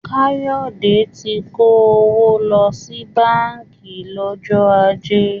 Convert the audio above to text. Káyọ̀dé ti kó owó lọ sí báńkì lọ́jọ́ ajé